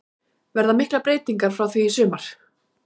Verða miklar breytingar frá því í sumar?